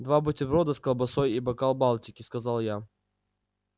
два бутерброда с колбасой и бокал балтики сказал я